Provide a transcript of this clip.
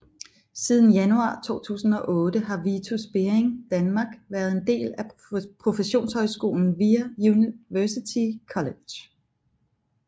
Siden januar 2008 har Vitus Bering Danmark været en del af professionshøjskolen VIA University College